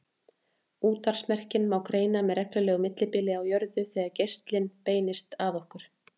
Útvarpsmerkin má greina með reglulegu millibili á jörðu þegar geislinn beinist að okkur.